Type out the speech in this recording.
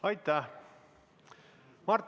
Aitäh!